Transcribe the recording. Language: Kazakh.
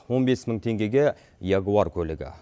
он бес мың теңгеге ягуар көлігі